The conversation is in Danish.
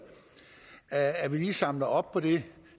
at vi lige samler op på det